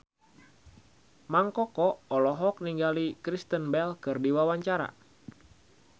Mang Koko olohok ningali Kristen Bell keur diwawancara